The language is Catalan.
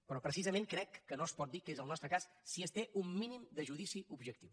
però precisament crec que no es pot dir que sigui el nostre cas si es té un mínim de judici objectiu